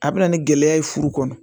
A bɛ na ni gɛlɛya ye furu kɔnɔ